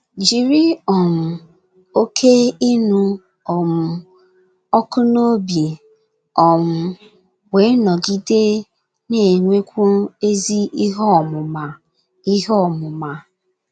Jiri um Oké Ịnụ um Ọkụ n’Obi, um wee nọgide Na - enwekwu ezi Ihe ọmụma. Ihe ọmụma.